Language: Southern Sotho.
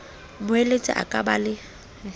moeletsi a ka ba le